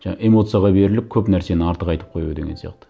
жаңа эмоцияға беріліп көп нәрсені артық айтып қою деген сияқты